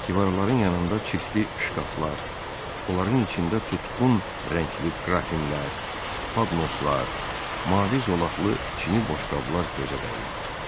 Divarların yanında çirkli şkaflar, onların içində tutqun rəngli qrafinlər, padnoslar, mavi zolaqlı çini boşqablar gözə dəyirdi.